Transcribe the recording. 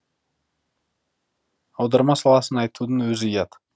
аударма саласын айтудың өзі ұят